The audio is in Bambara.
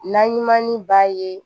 Naɲumani b'a ye